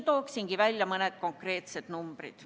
Toongi välja mõned konkreetsed numbrid.